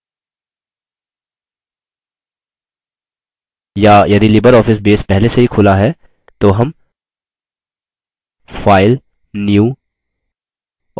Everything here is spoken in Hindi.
या यदि libreoffice बेस पहले से ही खुला है तो हम file new और फिर database पर click करेंगे